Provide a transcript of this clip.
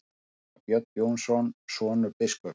Síra Björn Jónsson, sonur biskups.